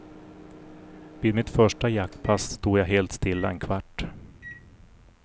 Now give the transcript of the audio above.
Vid mitt första jaktpass stod jag helt stilla en kvart.